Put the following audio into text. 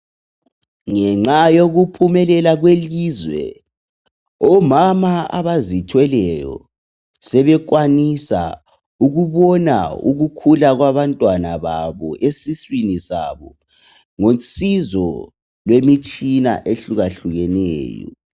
ngenxa yokuphumelela kwelizwe omama abazithweleyo sebekwanisa ukubona ukukhula kwabantwana babo esiswini sabo ngosizo lwemitshina ehlukahlukeneyo